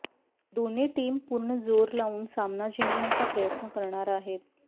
दोन्ही टीम पूर्ण जोर लावून सामना जिंकण्य़ाचा प्रयत्न करणार आहेत